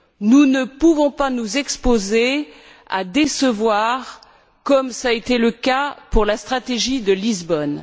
Nous ne pouvons pas nous exposer à décevoir, comme cela a été le cas pour la stratégie de Lisbonne.